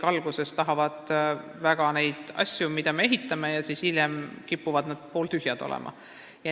Alguses tahavad kõik väga neid asju saada, mida me ehitame, aga hiljem kipuvad need pooltühjaks jääma.